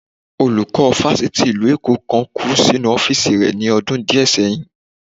Olùkọ́ Fáṣítì ìlú Èkó kan kù sínú ọ́fìsì rẹ ni ọdún díẹ̀ sẹyìn